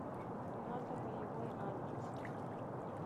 на тополевой адрес